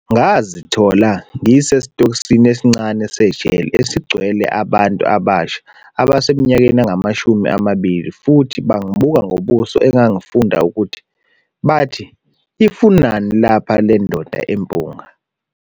"Ngazithola ngisesitokisini esincane sejele esigcwele abantu abasha abaseminyakeni engamashumi amabili futhi bangibuka ngobuso engangifunda ukuthi bathi 'ifunani lapha lendoda empunga?'.